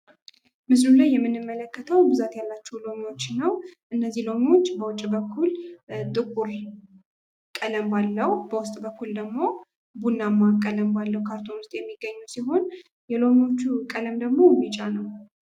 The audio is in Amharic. ምስሉ ላይ የምንመለከተው ብዛት ያለቸው ሎሚዎችን ነው ።እነዚህ ሎሚዎች በውጭ በኩል ጥቁር ቀለም ባለው በውስጥ በኩል ደግሞ ቡናማ ቀለም ባለው ካርቶን ውስጥ የሚገኙ ሲሆን የሎሚዎቹ ቀለም ደግሞ ቢጫ ነው።